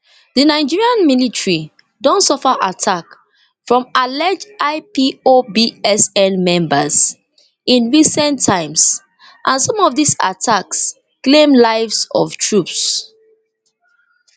di nigerian military don suffer attack from alleged ipobesn members in recent times and some of dis attacks claim lives of troops